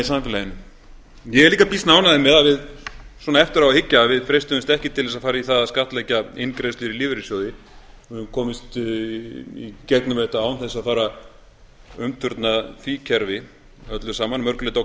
samfélaginu ég er líka býsna ánægður með svona eftir á að hyggja að við freistuðumst ekki til þess að fara í það að skattleggja inngreiðslur í lífeyrissjóði við höfum komist í gegnum þetta án þess að fara að umturna því kerfi öllu saman að mörgu leyti